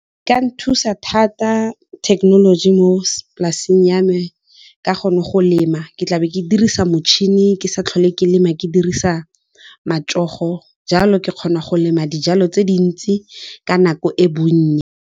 E ka nthusa thata thekenoloji mo polaseng ya me ka gonne go lema ke tlabe ke dirisa motšhini, ke sa tlhole ke lema ke dirisa matsogo jalo ke kgona go lema dijalo tse dintsi ka nako e bonnye.